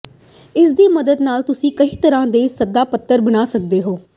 ਇਸ ਦੀ ਮਦਦ ਨਾਲ ਤੁਸੀਂ ਕਈ ਤਰ੍ਹਾਂ ਦੇ ਸੱਦਾ ਪੱਤਰ ਬਣਾ ਸਕਦੇ ਹੋ